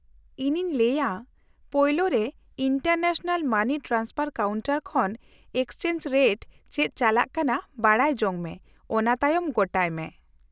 -ᱤᱧᱤᱧ ᱞᱟᱹᱭᱟᱹ, ᱯᱳᱭᱞᱳ ᱨᱮ ᱤᱱᱴᱟᱨᱱᱮᱥᱱᱟᱞ ᱢᱟᱱᱤ ᱴᱨᱟᱱᱥᱯᱷᱟᱨ ᱠᱟᱣᱩᱱᱴᱟᱨ ᱠᱷᱚᱱ ᱮᱠᱥᱪᱮᱧᱡᱽ ᱨᱮᱴ ᱪᱮᱫ ᱪᱟᱞᱟᱜ ᱠᱟᱱᱟ ᱵᱟᱲᱟᱭ ᱡᱚᱝ ᱢᱮ, ᱚᱱᱟ ᱛᱟᱭᱚᱢ ᱜᱚᱴᱟᱭ ᱢᱮ ᱾